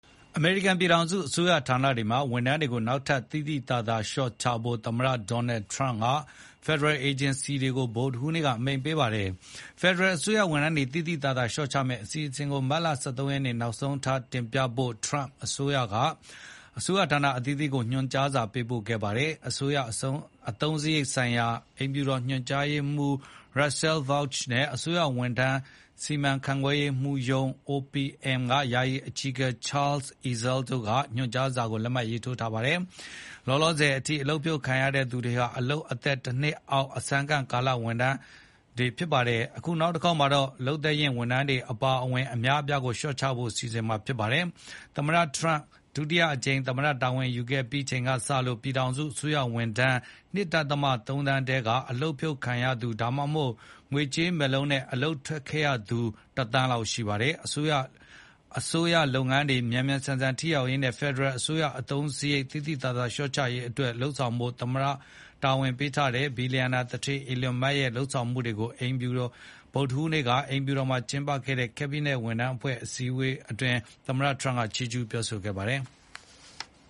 အမေရိကန်ပြည်ထောင်စု အစိုးရဌာနတွေမှာ ဝန်ထမ်းတွေကို နောက်ထပ် သိသိသာသာ လျှော့ချဖို့ သမ္မတ Donald Trump က ဖက်ဒရယ်အေဂျင်စီတွေကို ဗုဒ္ဓဟူးနေ့က အမိန့်ပေးလိုက်ပါတယ်။ ဖယ်ဒရယ်အစိုးရဝန်ထမ်းတွေ သိသိသာသာလျှော့ချမယ့် အစီအစဉ်တွေကို မတ်လ ၁၃ ရက်နေ့ နောက်ဆုံးထားတင်ပြဖို့ Trump အစိုးရက အစိုးရဌာနတွေကို ညွှန်ကြားစာပေးပို့ခဲ့တာဖြစ်ပါတယ်။ အစိုးရအသုံးစရိတ်ဆိုင်ရာ အိမ်ဖြူတော်ညွှန်ကြားရေးမှူး Russell Vought နဲ့ အစိုးရဝန်ထမ်း စီမံခန့်ခွဲမှုရေးရာရုံး OPM ယာယီအကြီးအကဲ Charles Ezell တို့က ညွှန်ကြားစာမှာ လက်မှတ်ထိုးထားပါတယ်။ လောလောဆယ်အထိ အလုပ်ဖြုတ်ခံခဲ့ရသူတွေဟာ လုပ်သက် ၁ နှစ်အောက် အစမ်းခန့်ကာလတာဝန်ထမ်းနေကြသူတွေဖြစ်ပါတယ်။ အခုတခေါက်မှာတော့ လုပ်သက်ရင့် ဝန်ထမ်းတွေအပါအဝင် အများအပြားကို လျှော့ချဖို့ အစီအစဉ်ဖြစ်ပါတယ်။ သမ္မတ Trump ဒုတိယအကြိမ် သမ္မတတာဝန်ယူခဲ့ပြီးချိန်ကစလို့ ပြည်ထောင်စု အစိုးရဝန်ထမ်း ၂.၃ သန်းထဲက အလုပ်ကဖြုတ်ခံရသူ ဒါမှမဟုတ် ငွေကြေးမက်လုံးနဲ့ အလုပ်ကထွက်ခဲ့သူ ၁ သိန်းလောက်ရှိပါတယ်။ အစိုးရလုပ်ငန်းတွေ မြန်ဆန်ထိရောက်ရေးနဲ့ ဖယ်ဒရယ်အစိုးရအသုံးစရိတ် သိသိသာသာလျှော့ချရေးအတွက်လုပ်ဆောင်ဖို့ သမ္မတ တာဝန်ပေးထားတဲ့ ဘီလျံနာသူဋ္ဌေး Elon Musk ရဲ့ လုပ်ဆောင်မှုတွေကို ဗုဒ္ဓဟူးနေ့က အိမ်ဖြူတော်မှာ ကျင်းပခဲ့တဲ့ Cabinet ဝန်ကြီးအဖွဲ့ အစည်းအဝေးအတွင်း သမ္မတ Trump က ချီးကျူးပြောကြားခဲ့ပါတယ်။